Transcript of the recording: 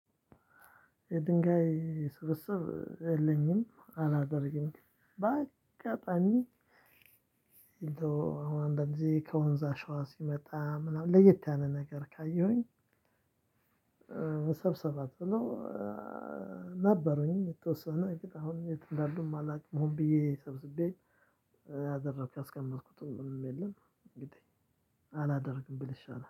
የድንጋይ ስብስብ የለኝም አላደርግም በአጋጣሚ አሁን እንደዚህ ከወንዝ አሸዋ ሲመጣ ምናምን ለየት ያለ ነገር ካየሁኝ መሰብሰብ አትለው ነበሩኝ የተወሰነ አሁን የት እንዳሉም አላውቅም ሆን ብዬ ሰብስቤ ያደረኩት አስቀመጥኩት ምንም የለም አላደርግም ብል ይሻላል።